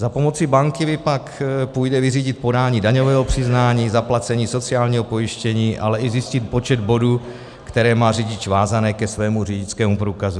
Za pomoci banky pak půjde vyřídit podání daňového přiznání, zaplacení sociálního pojištění, ale i zjistit počet bodů, které má řidič vázané ke svému řidičskému průkazu.